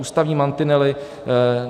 Ústavní mantinely.